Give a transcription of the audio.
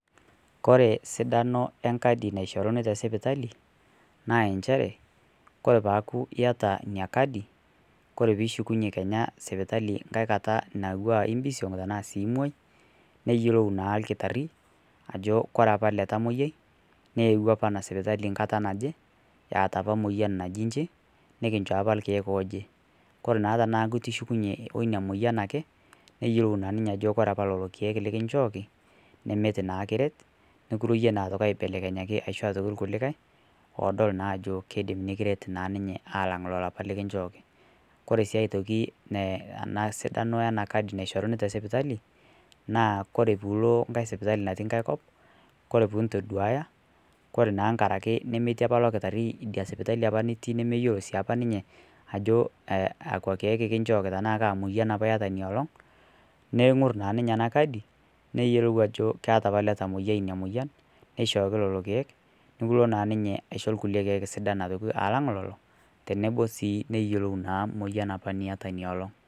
Kore sidano ekadi neishorini te sipitali naa encheere kore peaku eyaata enia kaadi kore pii ishukunye sipitali nkaai kaata natiwaa ebiisong' tana imooi niiyeloo naa ilkitaari ajo kore apa ele ntamoyia neuuwa apaa ana sipitali nkaata najoo aje etaa apa moyian najii nchii nikinchoo apa elkiek ojee. Kore naa tana ishukunye onia moyian ake neiyeloo naa ninye ajo kore apa lolo lkiek likinchooki neemet naa kireet, nikiruinye naa aitoki aibelekenyaki aishoo aitoki kulikai odool naa ajoo keidim naa nikireet naa antoki ninye alang lolo apaa likinchooki. Kore sii aitonki ana sidano ena kaadi nikinchoori te sipitali naa kore piiloo nkaai sipitali natii nkaai koop kore puu ntoduayaa kore naaa ng'araki nimetii apaa loo ltaari enia sipitali apaa nitii nimeiyoloo sii apa ninye ajo kakwa lkiek apa kinchooki tana kaa moyian apa eiyataa enia olong'. Neing'orr naa ninye ana kaadi neiyelou ajo keeta apa ele ntamoyia ena moyian neishooki lelo lkiek, nikiloo naa ninye aishoo lkule lkiek sidaan alang leloo tenebo sii neiyelou moyian apa nietaa nia oloong'.